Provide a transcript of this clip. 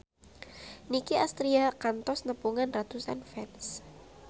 Nicky Astria kantos nepungan ratusan fans